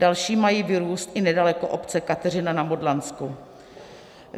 Další mají vyrůst i nedaleko obce Kateřina na Modlansku.